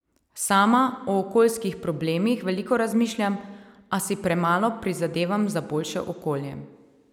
Sama o okoljskih problemih veliko razmišljam, a si premalo prizadevam za boljše okolje.